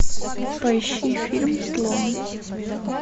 поищи фильм слон